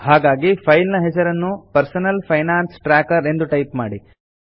ಹಾಗಾಗಿ ಫೈಲ್ ನ ಹೆಸರನ್ನು ಪರ್ಸನಲ್ ಫೈನಾನ್ಸ್ ಟ್ರ್ಯಾಕರ್ ಎಂದು ಟೈಪ್ ಮಾಡಿ